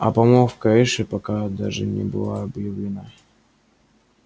а помолвка эшли пока даже не была объявлена